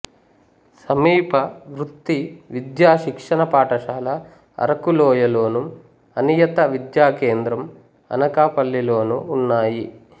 సమీప వృత్తి విద్యా శిక్షణ పాఠశాల అరకులోయలోను అనియత విద్యా కేంద్రం అనకాపల్లిలోను ఉన్నాయి